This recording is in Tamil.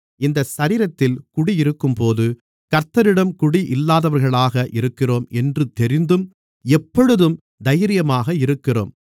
இந்த சரீரத்தில் குடியிருக்கும்போது கர்த்தரிடம் குடியில்லாதவர்களாக இருக்கிறோம் என்று தெரிந்தும் எப்பொழுதும் தைரியமாக இருக்கிறோம்